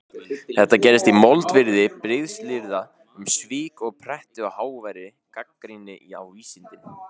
Þetta gerist í moldviðri brigslyrða um svik og pretti og háværri gagnrýni á vísindin.